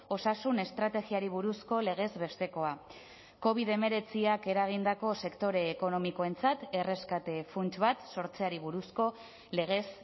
osasun estrategiari buruzko legez bestekoa covid hemeretziak eragindako sektore ekonomikoentzat erreskate funts bat sortzeari buruzko legez